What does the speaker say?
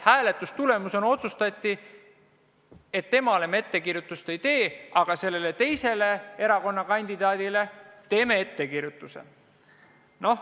Hääletuse tulemusena otsustati, et temale me ettekirjutust ei tee, aga sellele teisele kandidaadile teeme ettekirjutuse.